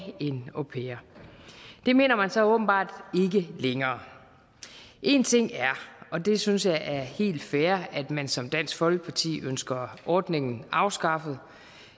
en au pair det mener man så åbenbart ikke længere en ting er og det synes jeg er helt fair at man som dansk folkeparti ønsker ordningen afskaffet